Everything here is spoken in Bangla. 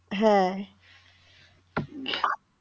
হ্যাঁ